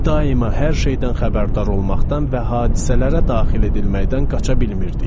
Daima hər şeydən xəbərdar olmaqdan və hadisələrə daxil edilməkdən qaça bilmirdik.